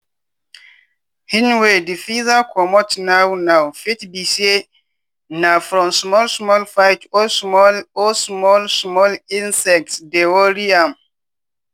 hen wey di feather comot now now fit be say na from small small fight or small or small small insects dey worry am.